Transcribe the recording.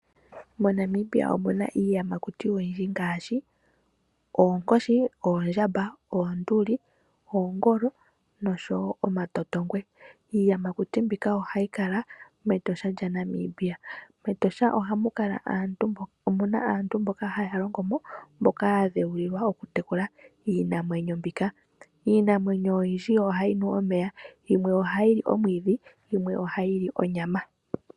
MoNamibia omuna iiyamakuti oyindji ngaashi oonkoshi, oondjamba, oonduli, oongolo, noshowo omatotongwe. Iiyamakuti mbika ohayi kala mEtosha lya Namibia. MEtosha omuna aantu mboka haya longo mo, mboka ya dheulilwa okutekula iinamwenyo mbika. Iinamwenyo oyindji ohayi nu omeya, yimwe ohayi li omwiidhi, yimwe ohayi li onyama.